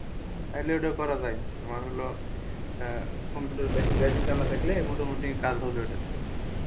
তাহলে ওটা করা যায় তোমার হলো কম্পিউটারের basic জানা থাকলে মোটা মুটি ওটা কাজ হবে ওটাতে,